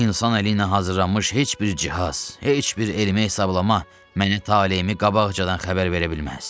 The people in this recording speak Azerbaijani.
İnsan əli ilə hazırlanmış heç bir cihaz, heç bir elmi hesablama məni taleyimi qabaqcadan xəbər verə bilməz."